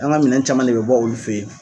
An ka minɛ caman de bɛ bɔ olu fɛ yen.